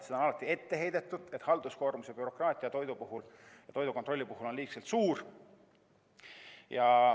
Seda on alati ette heidetud, et halduskoormus ja bürokraatia on toidukontrolli puhul liiga suur.